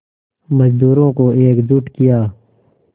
मज़दूरों को एकजुट किया